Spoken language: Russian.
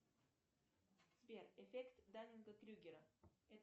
сбер эффект даннинга крюгера